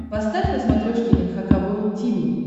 поставь на смотрешке эн эйч кей волд ти ви